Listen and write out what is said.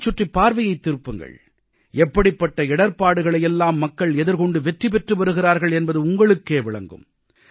உங்களைச் சுற்றிப் பார்வையைத் திருப்புங்கள் எப்படிப்பட்ட இடர்ப்பாடுகளையெல்லாம் மக்கள் எதிர்கொண்டு வெற்றி பெற்று வருகிறார்கள் என்பது உங்களுக்கே விளங்கும்